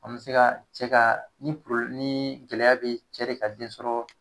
An bɛ se ka cɛ ka ni ni gɛlɛya bɛ ye cɛ de ka densɔrɔ